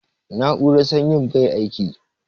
Na'urar sanyin bai aiki